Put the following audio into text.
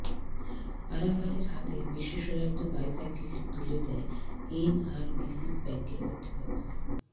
আরাফাতের হাতে বিশেষায়িত বাইসাইকেল তুলে দেয় এনআরবিসি ব্যাংক কর্তৃপক্ষ